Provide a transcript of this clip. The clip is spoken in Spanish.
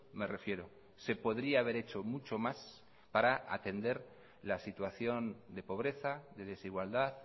me refiero se podría haber hecho mucho más para atender la situación de pobreza de desigualdad